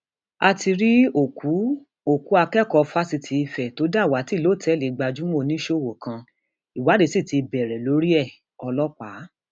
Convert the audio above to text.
ìgbìmọ olùwádìí ní kí wọn lé um gbogbo ọlọpàá àti sójà tó lọ sí tóògéètì um lèkì lásìkò ìwọdeendsars dànù